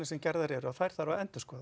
sem gerðar eru að þær þarf að endurskoða